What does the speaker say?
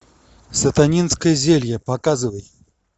сатанинское зелье показывай